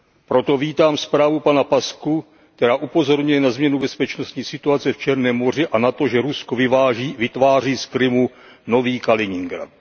Proto vítám zprávu pana Paşcu, která upozorňuje na změnu bezpečnostní situace v Černém moři a na to, že Rusko vytváří z Krymu nový Kaliningrad.